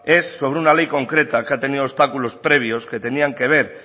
es sobre una ley concreta que ha tenido obstáculos previos que tenían que ver